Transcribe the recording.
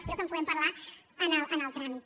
espero que en puguem parlar en el tràmit